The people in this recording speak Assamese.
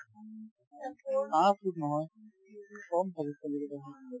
পাঁচ foot নহয় কম থাকে